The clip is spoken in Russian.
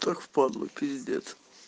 так впадлу пиздец